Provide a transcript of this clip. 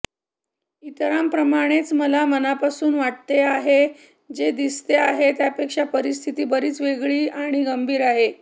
इतरांप्रमाणेच मला मनापासून वाटते आहे जे दिसते आहे त्यापेक्षा परिस्थिती बरीच वेगळी आणि गंभीर आहे